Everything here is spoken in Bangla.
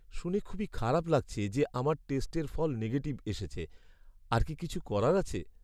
শুনে খুবই খারাপ লাগছে যে আমার টেস্টের ফল নেগেটিভ এসেছে। আর কি কিছু করার আছে?